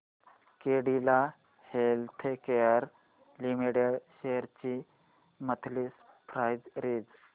Cadila Healthcare Limited shares ची monthly price range